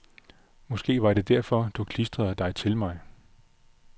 Måske var det derfor du klistrede dig til mig.